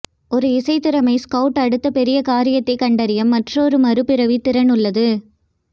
ஒரு இசை திறமை ஸ்கவுட் அடுத்த பெரிய காரியத்தை கண்டறிய மற்றொரு மறுபிறவி திறன் உள்ளது